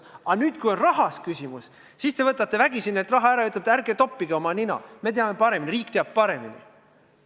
Aga nüüd, kui küsimus on rahas, siis võtate neilt vägisi raha ära ja ütlete, et ärge toppige oma nina sellesse, meie teame paremini, riik teab paremini.